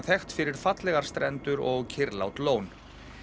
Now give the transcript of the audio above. þekkt fyrir fallegar strendur og kyrrlát lón